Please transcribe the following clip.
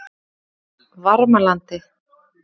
Varmalandi